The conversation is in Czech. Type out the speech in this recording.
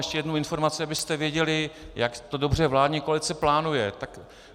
Ještě jednu informaci, abyste věděli, jak to dobře vládní koalice plánuje.